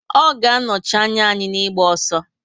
Ọ ga anochi anya anyi na ịgba ọsọ